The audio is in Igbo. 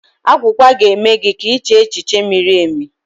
Agwugwa ga-eme gị ka iche echiche miri emi